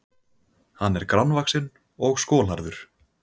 Hann er grannvaxinn og skolhærður